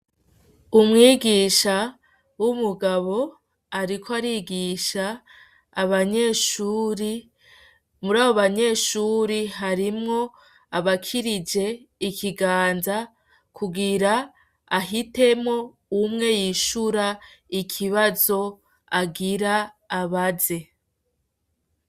Umwigisha w'umugabo ariko arigisha abanyeshure, muri abo banyeshure harimwo abakirije ikiganza kugira ahitemwo umwe yishura ikibazo agira abaze.